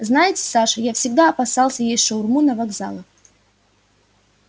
знаете саша я всегда опасался есть шаурму на вокзалах